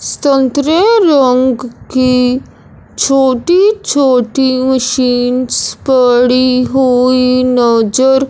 संतरे रंग की छोटी-छोटी मशीन्स पड़ी हुई नज़र --